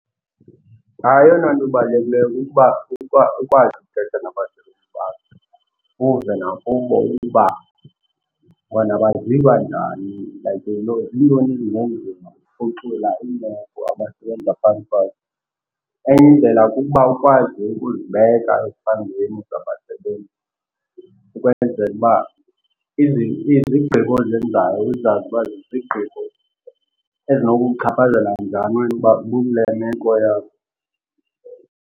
Hayi, eyona nto ibalulekileyo kukuba ukuba ukwazi ukuthetha nabasebenzi bakho. Uve nakubo ukuba bona baziva njani, like ziintoni ezingenziwa ukuphucula iimeko abasebenza phantsi kwazo. Enye indlela kukuba ukwazi ukuzibeka ezihlangwini zabasebenzi ukwenzela uba izigqibo ozenzayo uzazi uba zizigqibo ezinokukuchaphazela njani wena uba ubukule meko yabo.